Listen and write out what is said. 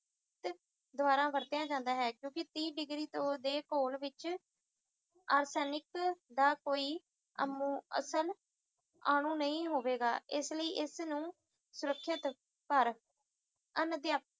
ਦੁਆਰਾ ਵਰਤਿਆ ਜਾਂਦਾ ਹੈ ਜੋ ਕਿ ਤੀਹ ਡਿਗਰੀ ਦੇ ਘੋਲ ਵਿਚ arsenic ਦਾ ਕੋਈ ਅਮੁ ਅਸਲ ਅਨੂ ਨਹੀਂ ਹੋਵੇਗਾ ਇਸ ਲਈ ਇਸ ਨੂੰ ਸੁਰੱਖਿਅਤ ਕਰ ਅਨ-ਅਧਿਆ